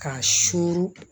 K'a suru